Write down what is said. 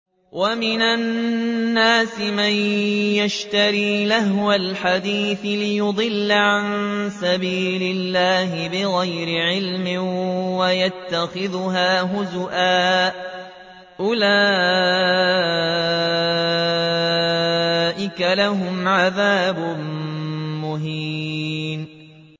وَمِنَ النَّاسِ مَن يَشْتَرِي لَهْوَ الْحَدِيثِ لِيُضِلَّ عَن سَبِيلِ اللَّهِ بِغَيْرِ عِلْمٍ وَيَتَّخِذَهَا هُزُوًا ۚ أُولَٰئِكَ لَهُمْ عَذَابٌ مُّهِينٌ